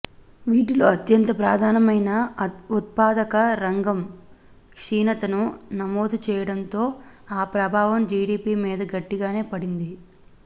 వీటిలో అత్యంత ప్రధానమైన ఉత్పాదక రంగం క్షీణతను నమోదుచేయడంతో ఆ ప్రభావం జీడీపీ మీద గట్టిగానే పడింది